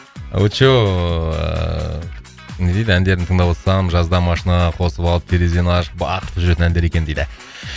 очоу ыыы не дейді әндерін тыңдавотсам жазда машинаға қосып алып терезені ашып бақыртып жүретін әндер екен дейді